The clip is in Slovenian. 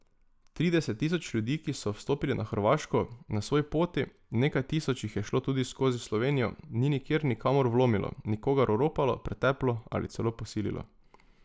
Trideset tisoč ljudi, ki so vstopili na Hrvaško, na svoji poti, nekaj tisoč jih je šlo tudi skozi Slovenijo, ni nikjer nikamor vlomilo, nikogar oropalo, preteplo ali celo posililo.